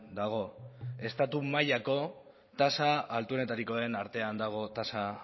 dago estatu mailako tasa altuenetarikoen artean dago tasa